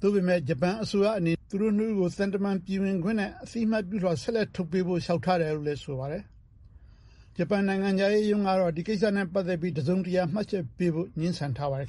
သို့ပေမယ့် ဂျပန်အစိုးရအနေနဲ့ သူတို့ ၂ ဦးကို သံတမန်ပြည်ဝင်ခွင့်နဲ့ အသိအမှတ်ပြုလွှာ ဆက်လက်ထုတ်ပေးဖို့ လျှောက်ထားတယ်လို့လည်း ဆိုပါတယ်။ ဂျပန်နိုင်ငံခြားရေးရုံးကတော့ ဒီကိစ္စနဲ့ ပတ်သက်ပြီး တစုံတရာ မှတ်ချက်ပေးဖို့ ငြင်းဆန်ထားပါတယ်